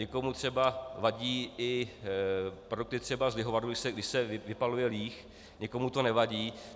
Někomu třeba vadí i produkty třeba z lihovaru, když se vypaluje líh, někomu to nevadí.